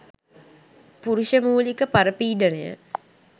පුරුෂ මූලික පරපීඩනය